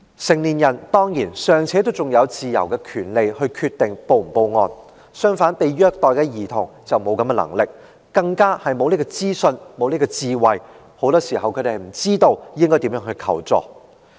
成年人當然還有權利自由決定是否報案，但被虐待的兒童卻沒有能力，更沒有資訊和智慧，很多時候他們不知道應如何求助。